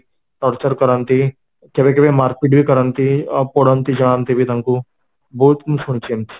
torture କରନ୍ତି କେବେ କେବେ ମାରପିଟ ବି କରନ୍ତି ଆଉ ପଡନ୍ତି ଜାଳନ୍ତି ବି ତାଙ୍କୁ ବହୁତ ମୁଁ ଶୁଣିଛି ଏମିତି